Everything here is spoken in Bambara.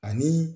Ani